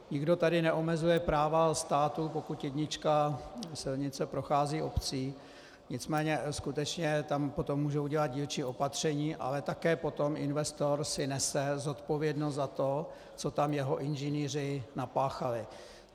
Nikdo tady neomezuje práva státu, pokud jednička silnice prochází obcí, nicméně skutečně tam potom můžou dělat dílčí opatření, ale také potom investor si nese zodpovědnost za to, co tam jeho inženýři napáchali.